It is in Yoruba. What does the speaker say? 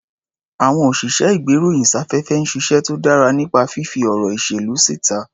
Àwọn òsìṣẹ́-ìgbéròyìn-sáfẹ́fẹ́ ń ṣiṣẹ́ tó dára nípa fífí ọ̀rọ̀ ìṣèlú síta.